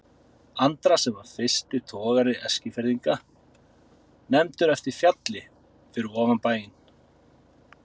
Andra sem var fyrsti togari Eskfirðinga, nefndur eftir fjalli fyrir ofan bæinn.